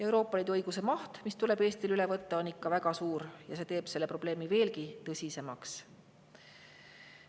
Euroopa Liidu õiguse maht, mis tuleb Eestil üle võtta, on ikka väga suur ja see teeb selle probleemi veelgi tõsisemaks.